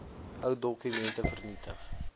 ou dokumente vernietig